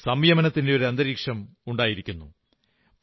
ഇപ്പോൾ സംയമനത്തിന്റെ അന്തരീക്ഷമുണ്ടായിരിക്കുന്നു